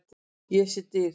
Ég sé dyr.